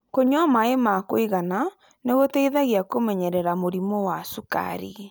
Kũnyua maĩ ma kũigana nĩ gũteithagia kũmenyerera mũrimũ wa cukari.